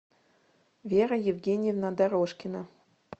вера евгеньевна дорожкина